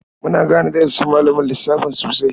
Muna gane darasin malamin lissafin sosai.